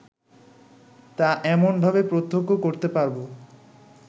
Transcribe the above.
তা এমনভাবে প্রত্যক্ষ করতে পারব